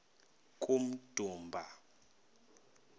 kummdumba